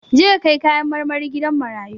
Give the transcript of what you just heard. Je ka kai kayan marmari gidan marayu!